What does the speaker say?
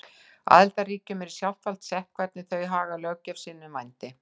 Aðildarríkjunum er í sjálfsvald sett hvernig þau haga löggjöf sinni um vændi.